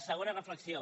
segona reflexió